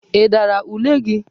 Ị dara ule gi?